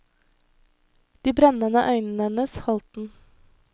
De brennende øynene hennes holdt den.